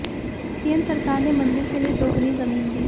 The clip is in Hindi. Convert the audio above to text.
केंद्र सरकार ने मंदिर के लिए दोगुनी जमीन दी